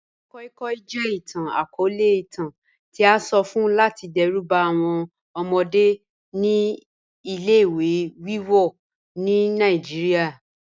Madam koi koi jẹ itan-akọọlẹ itan ti a sọ fun lati dẹruba awọn ọmọde ni ile-iwe wiwọ ni Nigeria